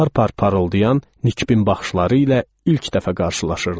Par-par parıldayan Nikibin baxışları ilə ilk dəfə qarşılaşırdım.